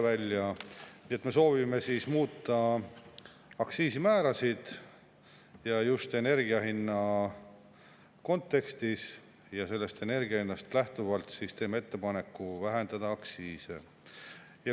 Nii et me soovime muuta aktsiisimäärasid, just energiahinna kontekstis, ja sellest energiahinnast lähtuvalt teeme ettepaneku vähendada aktsiise.